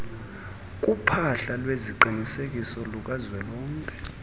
kuphahla lweziqinisekiso lukazwelonke